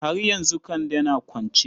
Har yanzu Kande na kwance?